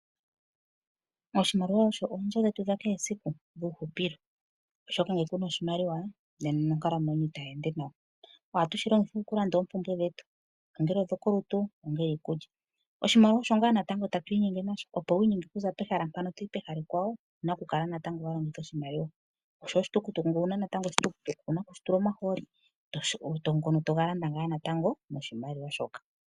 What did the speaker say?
Oshimaliwa osho oonzo dhetu dha kehe esiku dhuuhupilo, oshoka ngele kuna oshimaliwa nena nonkalamwenyo yoye itayi ende nawa. Ohatu shi longitha oku landa oompumbwe dhetu, ongele odho kolutu, ongele iikulya. Oshimaliwa osho ngaa natango tatu inyenge nasho opo wu inyenge okuza pehala mpano toyi pehala ekwawo, owu na oku kala natango wa longitha oshimaliwa, oshowo oshitukutuku ngele owuna natango, oshitukutuku owu na oku shi tula omahooli ngono toga landa ngaa natango noshimaliwa shoka.